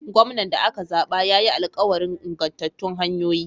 Gwamnan da aka zaɓa ya yi alkawarin ingantattun hanyoyi.